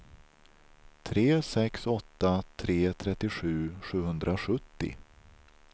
tre sex åtta tre trettiosju sjuhundrasjuttio